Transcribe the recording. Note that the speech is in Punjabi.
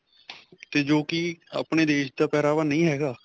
'ਤੇ ਜੋ ਕੀ ਆਪਣੇ ਦੇਸ਼ ਦਾ ਪਹਿਰਾਵਾ ਨਹੀਂ ਹੈਗਾ .